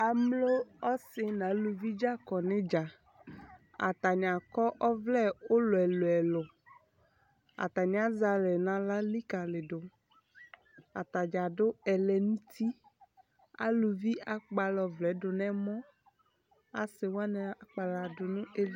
Amlo ɔsi naluvi dza kɔ nidzaAtani akɔ ɔvlɛ ulɔ ɛlu ɛluAtani azɛ alɛ naɣla likaliduAtadza adʋ ɛlɛnutiAluvi akpala ɔvlɛɛ dʋ nɛmɔAsiwani akpala du nʋ evi